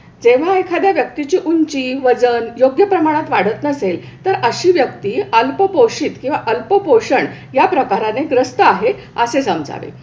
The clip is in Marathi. जेव्हा एखाद्या व्यक्तीची उंची, वजन योग्य प्रमाणात वाढत नसेल तर अशी व्यक्ती अल्पपोषित किंवा अल्पपोषण या प्रकाराने त्रस्त आहे असे समजावे.